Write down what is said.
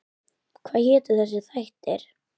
Hvað hétu þessir þættir?